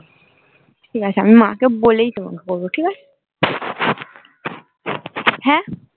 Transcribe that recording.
ঠিকাছে আমি মাকে বলেই তোমাকে করবো ঠিক আছে হ্যা